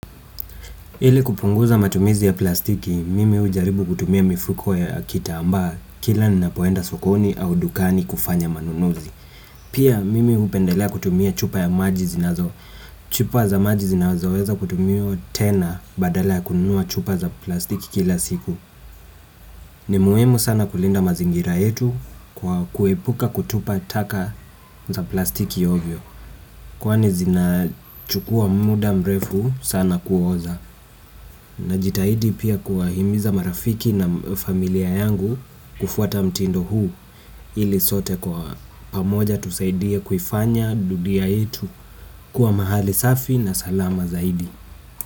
Ili kupunguza matumizi ya plastiki, mimi hujaribu kutumia mifuko ya kitamba kila ninapoenda sokoni au dukani kufanya manunuzi. Pia mimi hupendelea kutumia chupa ya maji zinazo chupa za maji zinazoweza kutumiwa tena badala ya kununua chupa za plastiki kila siku. Ni muhimu sana kulinda mazingira yetu kwa kuepuka kutupa taka za plastiki ovyo kwani zinachukua muda mrefu sana kuoza. Najitahidi pia kuwahimiza marafiki na familia yangu kufuata mtindo huu ili sote kwa pamoja tusaidie kuifanya dudia itu kuwa mahali safi na salama zaidi.